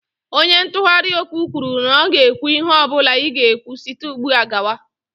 Onye ntụgharị okwu kwuru na ọ ga-ekwu ihe ọ bụla ị ga-ekwu site ugbu a gawa.